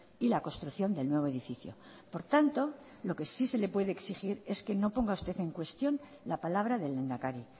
y la construcción del nuevo edificio por tanto lo que sí se le puede exigir es que no ponga usted en cuestión la palabra del lehendakari